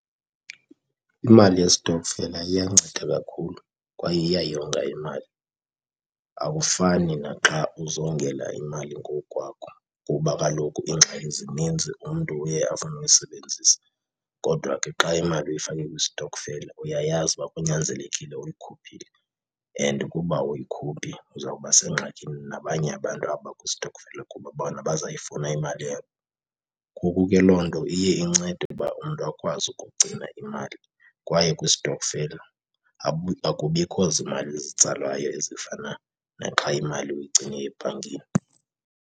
Imali yesitokfela iyanceda kakhulu kwaye iyayonga imali, akufani naxa uzongela imali ngowukwakho kuba kaloku iingxaki zininzi umntu uye afune uyisebenzisa. Kodwa ke xa imali uyifake kwistokfela uyayazi ukuba kunyanzelekile uyikhuphile, and ukuba awuyikhuphi uzawuba sengxakini nabanye abantu abakwistokfela kuba bona bazayifumana imali yabo. Ngoku ke loo nto iye incede ukuba umntu akwazi ukugcina imali kwaye kwistokfela akubikho zimali zitsalwayo ezifana naxa imali uyigcine ebhankini.